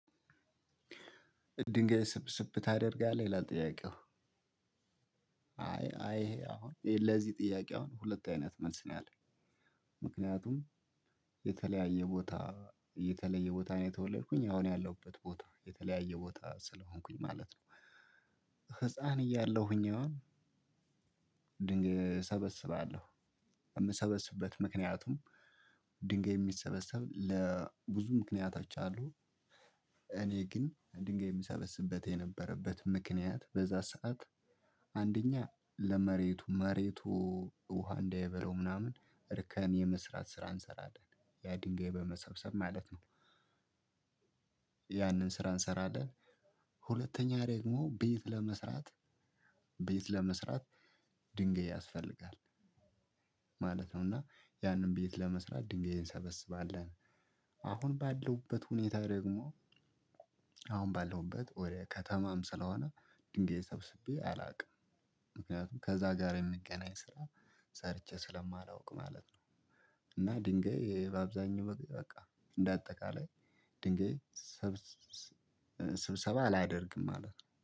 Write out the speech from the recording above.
ድንጋይ ስብስብ ታደርጋለህ ይላል ጥያቄው? አይ አይ አሁን ለዚህ ጥያቄ አሁን ሁለት አይነት መልስ ነው ያለው። ምክንያቱም የተለያየ ቦታ የተለየ ቦታ ነው የተወለድኩኝ አሁን ያለሁበት ቦታ የተለያየ ቦታ ስለሆንኩኝ ማለት ነው። ህፃን እያለሁኝ ይሆን? ድንጋይ እሰበስባለሁ። የምሰበስብበት ምክንያቱም ድንጋይ የሚሰበሰብ ብዙ ምክንያቶች አሉ። እኔ ግን አንድ ድንጋይ የሚሰበስበት የነበረበት ምክንያት በዛ ሰዓት አንደኛ ለመሬቱ መሬቱ ውሃ እንደይበላው ምናምን እርከን የመስራት ስራ እንሰራለን ያ ድንጋይ በመሰብሰብ ማለት ነው። ያንን ስራ እንሰራለን። ሁለተኛ ደግሞ ቤት ለመስራት ቤት ለመስራት ድንገይ ያስፈልጋል። ማለት ነው እና ያንን ቤት ለመስራት ድንገት እንሰበስባለን። አሁን ባለሁበት ሁኔታ ደግሞ አሁን ባለውበት ወደ ከተማም ስለሆነ ድንጋይ ሰብስቤ አላውቅም። ምክንያቱም ከዛ ጋር የሚገናኝ ስራ ሰርቼ ስለማላውቅ ማለት ነው። እና ድንጋይ በአብዛኛው በቃ እንደ አጠቃላይ ድንጋይ ስብሰባ አላደርግም ማለት ነው